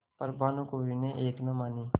पर भानुकुँवरि ने एक न मानी